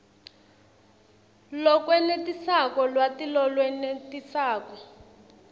lokwenetisako lwati lolwenetisako